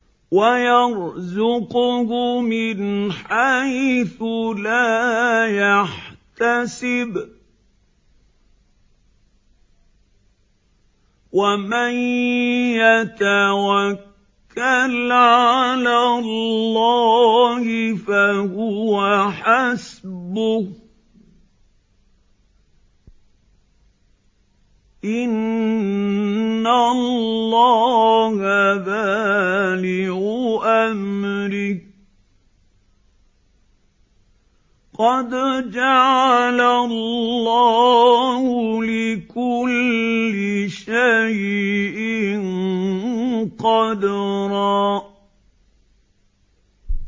وَيَرْزُقْهُ مِنْ حَيْثُ لَا يَحْتَسِبُ ۚ وَمَن يَتَوَكَّلْ عَلَى اللَّهِ فَهُوَ حَسْبُهُ ۚ إِنَّ اللَّهَ بَالِغُ أَمْرِهِ ۚ قَدْ جَعَلَ اللَّهُ لِكُلِّ شَيْءٍ قَدْرًا